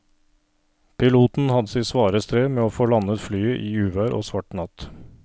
Piloten hadde sitt svare strev med å få landet flyet i uvær og svart natt.